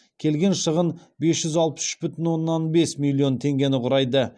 келген шығын бес жүз алпыс үш бүтін оннан бес миллион теңгені құрайды